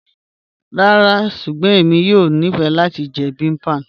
Ràrá ṣùgbọ́n ẹ̀mi yóò ní fẹ́ lati jẹ̀ bibimbap